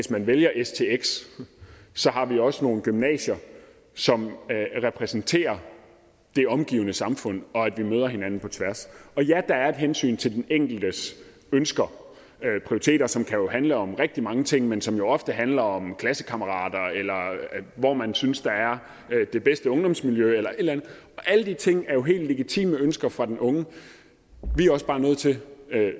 der vælger stx har vi også nogle gymnasier som repræsenterer det omgivende samfund og at vi møder hinanden på tværs og ja der er et hensyn til den enkeltes ønsker prioriteter som jo kan handle om rigtig mange ting men som jo ofte handler om klassekammerater eller hvor man synes der er det bedste ungdomsmiljø eller et eller andet alle de ting er jo helt legitime ønsker fra den unge vi er også bare nødt til